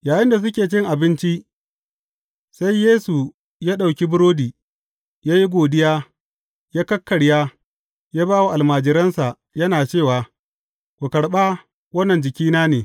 Yayinda suke cin abinci, sai Yesu ya ɗauki burodi, ya yi godiya, ya kakkarya, ya ba wa almajiransa, yana cewa, Ku karɓa, wannan jikina ne.